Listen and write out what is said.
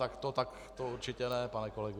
Tak to určitě ne, pane kolego.